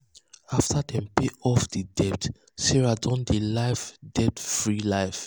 after dem pay off off di debt sarah don dey live debt free life.